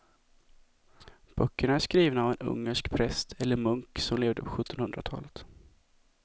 Böckerna är skrivna av en ungersk präst eller munk som levde på sjuttonhundratalet.